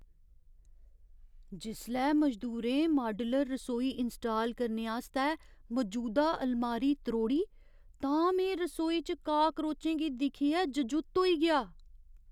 जिसलै मजदूरें माड्यूलर रसोई इंस्टाल करने आस्तै मजूदा अलमारी त्रोड़ी तां में रसोई च काक्रोचें गी दिक्खियै जजुत्त होई गेआ।